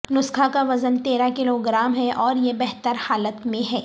نسخہ کا وزن تیرہ کلوگرام ہے اور یہ بہتر حالت میں ہے